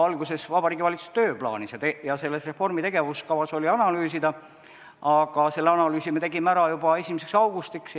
Alguses Vabariigi Valitsuse tööplaanis ja selles reformi tegevuskavas oli ka, et analüüsida, aga selle analüüsi me tegime ära juba 1. augustiks.